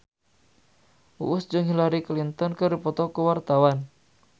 Uus jeung Hillary Clinton keur dipoto ku wartawan